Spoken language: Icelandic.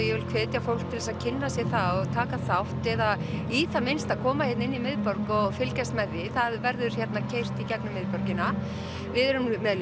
ég vil hvetja fólk til þess að kynna sér það og taka þátt eða í það minnsta koma hér inn í miðborg og fylgjast með því það verður keyrt í gegnum miðborgina við erum með